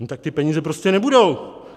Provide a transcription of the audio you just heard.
No tak ty peníze prostě nebudou.